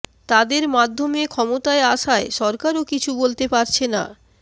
তাদের মাধ্যমে ক্ষমতায় আসায় সরকারও কিছু বলতে পারছে না